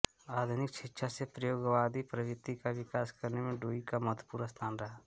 आधुनिक शिक्षा से प्रयोगवादी प्रवृत्ति का विकास करने में डुई का महत्वपूर्ण स्थान रहा है